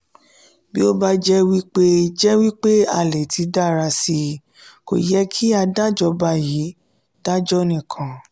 bi o je wi pe je wi pe a le ti dara si ko ye ki a dajoba yii dajo nikan.